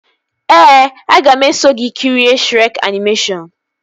Ee, aga m eso gị kirie Shrek animeshọnu